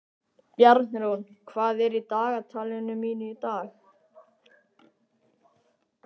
Bjarnrún, hvað er í dagatalinu mínu í dag?